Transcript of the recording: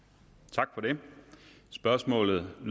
tak spørgsmålet er